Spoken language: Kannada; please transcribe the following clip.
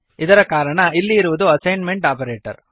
ಇದರ ಕಾರಣ ಇಲ್ಲಿ ಇರುವುದು ಅಸೈನ್ಮೆಂಟ್ ಆಪರೇಟರ್